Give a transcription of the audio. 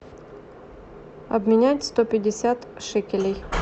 обменять сто пятьдесят шекелей